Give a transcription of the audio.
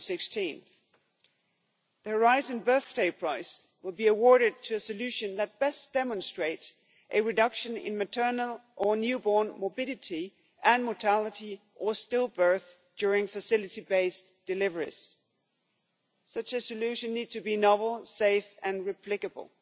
in 2016. The Horizon Birth Day Prize will be awarded to a solution that best demonstrates a reduction in maternal or newborn morbidity and mortality or stillbirth during facility-based deliveries. Such a solution needs to be novel, safe and replicable